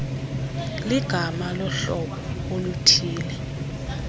ligama lohlobo oluthille